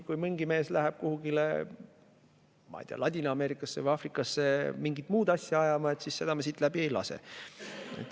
Kui mingi mees läheb kuhugile, ma ei tea, Ladina-Ameerikasse või Aafrikasse mingit muud asja ajama, siis seda me siit läbi ei lase.